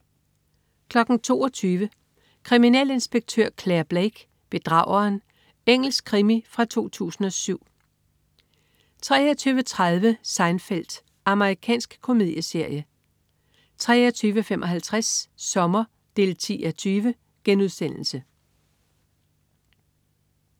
22.00 Kriminalinspektør Clare Blake: Bedrageren. Engelsk krimi fra 2007 23.30 Seinfeld. Amerikansk komedieserie 23.55 Sommer 10:20*